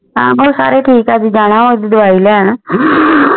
ਹਨ ਜੀ ਉਹ ਸਾਰੇ ਠੀਕ ਹੈ ਜਾਣਾ ਉਸ ਦੀ ਦਵਾਈ ਲੈਣ